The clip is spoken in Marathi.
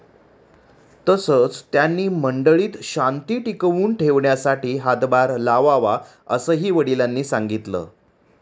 तसंच, त्यांनी मंडळीत शांती टिकवून ठेवण्यासाठी हातभार लावावा, असंही वडिलांनी सांगितलं.